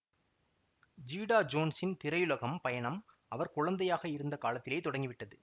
Zeta ஜோன்ஸின் திரையுலகம் பயணம் அவர் குழந்தையாக இருந்த காலத்திலேயே தொடங்கிவிட்டது